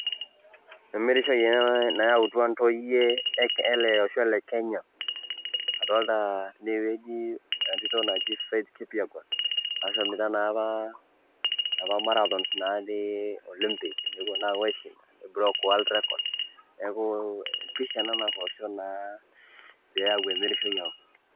Emirishoi ena nayautua ntoyie ele osho le kenya adolta tine wueji entito naji Faith Kipyegon, naashomita naa apa inapa marathon natii olympic, nepuo naa apou aishinda nibroke word record, neeku pisha ena natoosho naa peeyau emirishoi aang'.